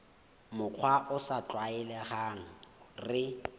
mokgwa o sa tlwaelehang re